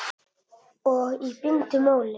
Og í bundnu máli